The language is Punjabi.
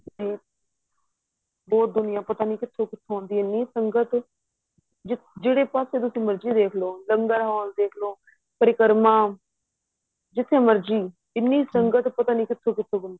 ਬਹੁਤ ਦੁਨੀਆਂ ਪਤਾ ਨਹੀਂ ਕਿਥੋ ਕਿਥੋ ਆਉਦੀ ਏ ਐਨੀ ਸੰਗਤ ਜਿਹੜੇ ਪਾਸੇ ਤੁਸੀਂ ਮਰਜੀ ਦੇਖਲੋ ਲੰਗਰ ਹਾਲ ਦੇਖਲੋ ਪ੍ਰਕਰਮਾਂ ਜਿਥੇ ਮਰਜੀ ਏਨੀ ਸੰਗਤ ਪਤਾ ਨਹੀਂ ਕਿਥੋ ਕਿਥੋ ਆਉਦੀ ਏ